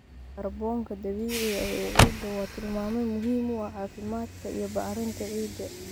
Kaarboonka dabiiciga ah ee ciidda waa tilmaame muhiim u ah caafimaadka iyo bacrinta ciidda.